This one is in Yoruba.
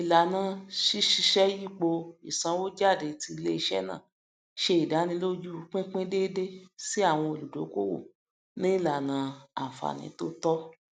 ìlànà síṣèyípo ìsanwó jáde ti iléiṣẹ náà ṣe ìdánilójú pínpín déédé sí àwọn olùdókòwò ní ìlànà àǹfààní tó tọ